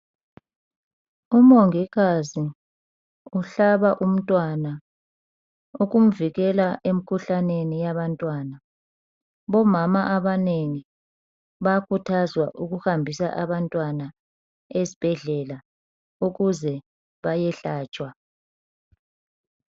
Umongikazi uhlaba umntwana ukumvikela emkhuhlaneni yabantwana. Bomama abanengi bayakhuthazwa ukuhambisa abantwana ezibhedlela ukuze bayehlatshwa.